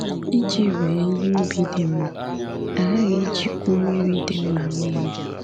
Iji wee ihe ubi dị mma, a ghaghị ijikwu mmiri dị mma mee ya.